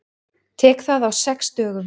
Tek það á sex dögum.